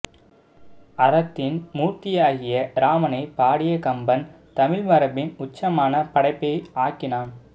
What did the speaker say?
அறத்தின் மூர்த்தியாகிய ராமனைப் பாடிய கம்பன் தமிழ் மரபின் உச்சமான படைப்பை ஆக்கினான்